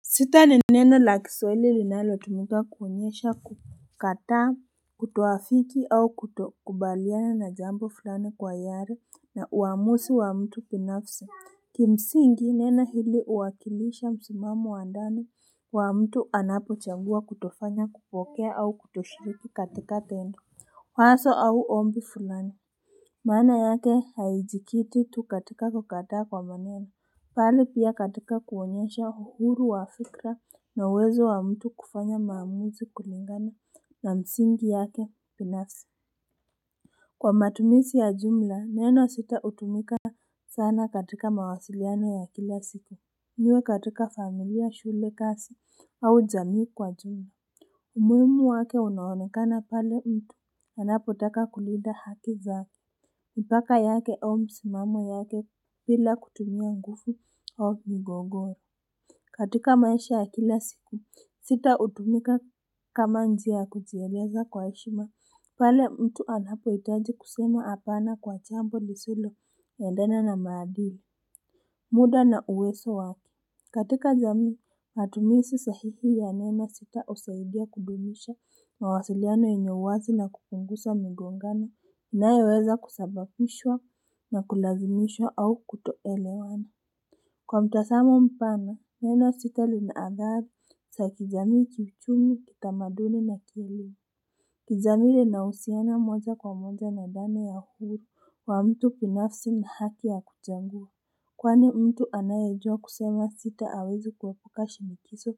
Sita ni neno la kiswaili linalotumika kuonyesha kukataa kutoafiki au kutokubaliana na jambo fulani kwa hiari na uamuzi wa mtu pinafsi kimsingi neno hili huwakilisha msimamo wa ndani wa mtu anapochangua kutofanya kupokea au kutoshiriki katika tendo waso au ombi fulani maana yake haijikiti tu katika kukataa kwa maneno pale pia katika kuonyesha uhuru wa fikra na uwezo wa mtu kufanya maamuzi kulingana na msingi yake pinafsi kwa matumisi ya jumla neno sita hutumika sana katika mawasiliano ya kila siku iwe katika familia shule kasi au jamii kwa jumla umuhimu wake unaonekana pale mtu anapotaka kulinda haki zake mpaka yake au msimamo yake pila kutumia ngufu au migogoro. Katika maisha ya kila siku, sita hutumika kama njia ya kujieleza kwa heshima. Pale mtu anapohitaji kusema apana kwa chambo lisiloendana na maadili. Muda na uweso wake katika jamii matumisi sahihi ya neno sita husaidia kudumisha mawasiliano yenye uwazi na kupungusa migongano. Inayoweza kusababishwa na kulazimishwa au kutoelewana kwa mtasamo mpana, neno sita lina athari sa kijamii kiuchumi kitamaduni na kielimu jamii inahusiana moja kwa moja na dhana ya uhuru wa mtu pinafsi na haki ya kutengua kwani mtu anayejua kusema sita hawezi kuepuka shinikiso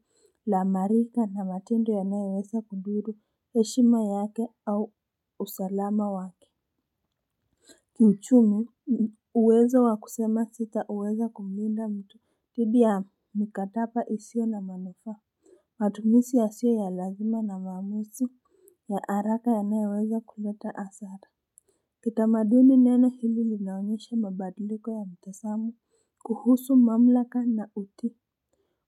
la marika na matendo yanayoweza kudhuru heshima yake au usalama wake kiuchumi uwezo wa kusema sitaweza kumlinda mtu dhidi ya mikataba isiyo na manufaa matumisi yasiyo ya lazima na maamusi ya haraka anayeweza kuleta hasara kitamaduni neno hili linaonyesha mabadiliko ya mtasamo kuhusu mamlaka na uti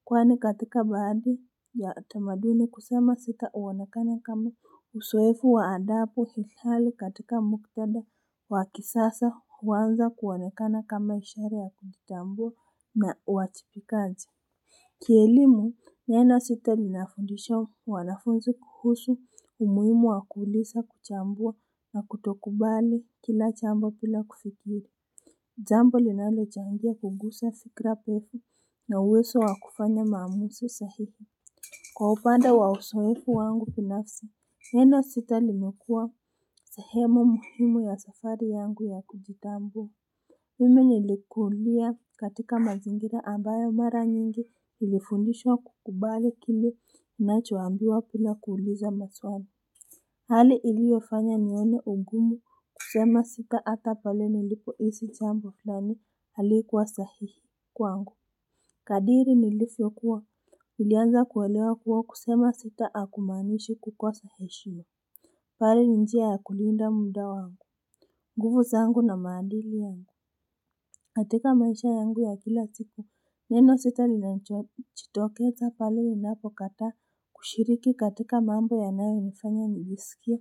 kwani katika baadhi ya tamaduni kusema sita huonekana kama usoefu wa adapu sishali katika muktadha wa kisasa huanza kuonekana kama ushari ya kujitambua na uwajipikaji. Kielimu neno sita linafundisha wanafunzi kuhusu umuhimu wa kuulisa kuchambua na kutokubali kila chambo pila kufikiri jambo linalochangia kugusa fikra pefu na uwezo wa kufanya maamusi sahihi. Kwa upande wa usoefu wangu pinafsi, neno sita limekuwa sehemu muhimu ya safari yangu ya kujitambua mimi nilikulia katika mazingira ambayo mara nyingi nilifundishwa kukubali kile unachoambiwa pila kuuliza maswali. Hali iliyofanya nione ugumu kusema sita hata pale nilipohisi chambo flani halikuwa sahihi kwangu. Kadiri nilifyokuwa nilianza kuelewa kuwa kusema sita hakumaanishi kukosa heshima. Pale njia ya kulinda muda wangu, nguvu zangu na maadili yangu katika maisha yangu ya kila siku neno sita linachitokeza pale ninapokataa kushiriki katika mambo yanayonifanya nijisikie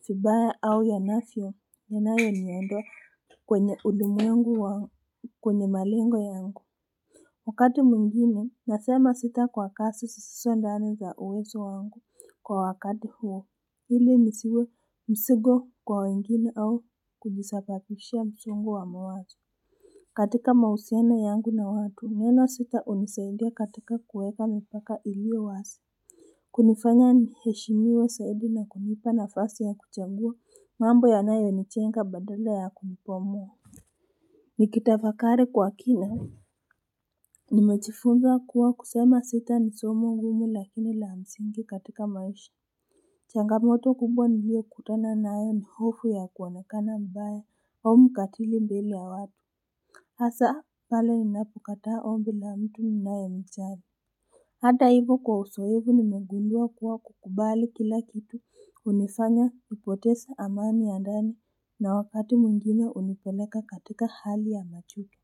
fibaya au yanafyo yanayo niondoa kwenye ulimwengu wa kwenye malengo yangu. Wakati mwengine nasema sita kwa kasi sisiso ndani za uwezo wangu kwa wakati huo ili nisiwe msigo kwa wengine au kujisapapishia msongo wa mawazo katika mahusiano yangu na watu neno sita hunisaidia katika kuweka mipaka iliyo wasi kunifanya niheshimiwe saidi na kunipa nafasi ya kuchangua mambo yanayonichenga badala ya kunipomoa nikitafakari kwa kina nimechifunza kuwa kusema sita ni somo ngumu lakini la msingi katika maisha changamoto kubwa niliyokutana nayo ni hofu ya kuonekana mbaya au mkatili mbele ya watu hasa pale ninapokataa ombi na mtu ninayemchari hata hivo kwa usoevu nimegundua kuwa kukubali kila kitu hunifanya nipotese amani ya ndani na wakati mwengine hunipeleka katika hali ya machuki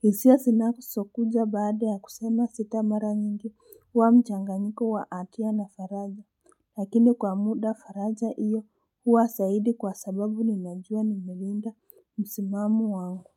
hisia sinasokuja baada ya kusema sita mara nyingi huwa mchanganyiko wa atia na faraja lakini kwa muda faraja iyo huwa saidi kwa sababu ninajua nimelinda msimamo wangu.